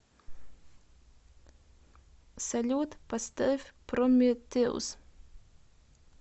салют поставь прометеус